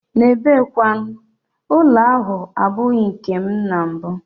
N'ebe kwanu, ụlọ ahụ abụghị nkem na mbụ.